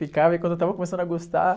Ficava e quando eu estava começando a gostar,